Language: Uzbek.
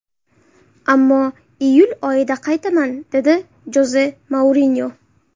Ammo iyul oyida qaytaman”, – dedi Joze Mourinyo.